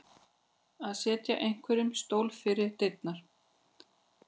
Að setja einhverjum stólinn fyrir dyrnar